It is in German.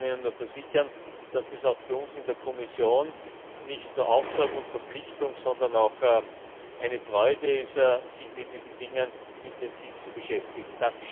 Ich kann Ihnen nur versichern, dass es für uns in der Kommission nicht nur Auftrag und Verpflichtung, sondern auch eine Freude ist, sich mit diesen Dingen intensiv zu beschäftigen.